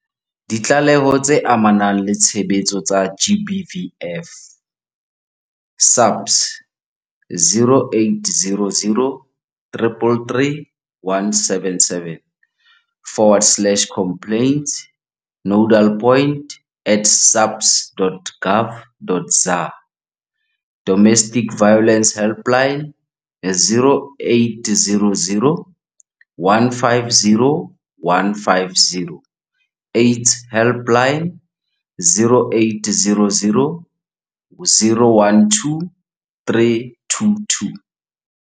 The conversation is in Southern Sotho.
Ditlaleho tse amanang le tshebetso tsa GBVF, SAPS, 0800 333 177 stroke complaintsnodalpoint at saps.gov.za Domestic Violence Helpline- 0800 150 150. AIDS Helpline- 0800 012 322.